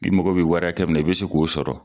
I mɔgɔ bɛ wara hakɛ minna , i bɛ se k'o sɔrɔ?